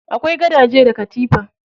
Akwai gadaje da katifa.